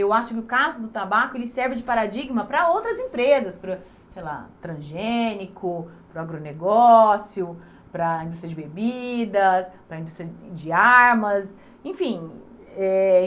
Eu acho que o caso do tabaco, ele serve de paradigma para outras empresas, para, sei lá, transgênico, para o agronegócio, para a indústria de bebidas, para a indústria de de armas, enfim. Eh